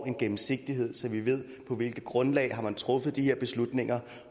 en gennemsigtighed så vi ved på hvilket grundlag man har truffet de her beslutninger